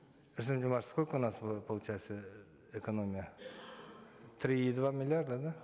сколько будет получается э экономия три и два миллиарда да